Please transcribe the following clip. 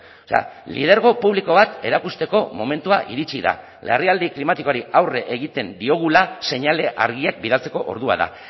o sea lidergo publiko bat erakusteko momentua iritsi da larrialdi klimatikoari aurre egiten diogula seinale argiak bidaltzeko ordua da